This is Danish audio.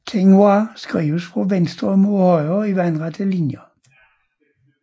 Tengwar skrives fra venstre mod højre i vandrette linjer